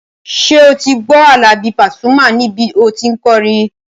Ṣé o ti gbọ́ Àlàbí Pasuma níbi tí o tí n kọrin?